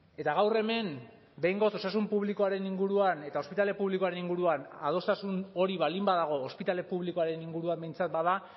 eta gaur hemen behingoz osasun publikoaren inguruan eta ospitale publikoaren inguruan adostasun hori baldin badago ospitale publikoaren inguruan behintzat bada